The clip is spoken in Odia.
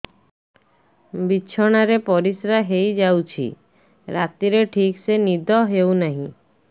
ବିଛଣା ରେ ପରିଶ୍ରା ହେଇ ଯାଉଛି ରାତିରେ ଠିକ ସେ ନିଦ ହେଉନାହିଁ